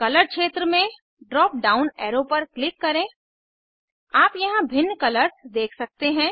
colour क्षेत्र में drop down arrow पर क्लिक करें आप यहाँ भिन्न कलर्स देख सकते हैं